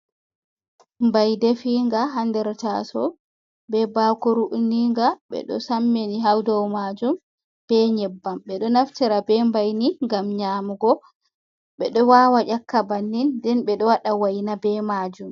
Mbai ɗefinga ha nɗer tasow. Be bakoru uninga. Be ɗo sammini ha ɗow majum be nyebbam. Be ɗo naftira be mbaini ngam nyamugo. Beɗo wawa nyakka bannin. Nɗen be ɗo waɗa waina be majum.